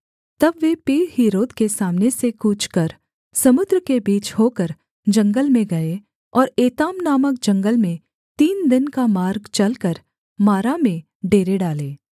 तब वे पीहहीरोत के सामने से कूच कर समुद्र के बीच होकर जंगल में गए और एताम नामक जंगल में तीन दिन का मार्ग चलकर मारा में डेरे डाले